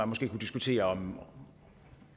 måske kan diskutere om